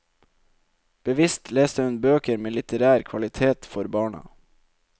Bevisst leste hun bøker med litterær kvalitet for barna.